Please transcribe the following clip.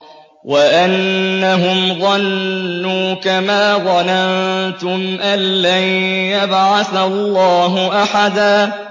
وَأَنَّهُمْ ظَنُّوا كَمَا ظَنَنتُمْ أَن لَّن يَبْعَثَ اللَّهُ أَحَدًا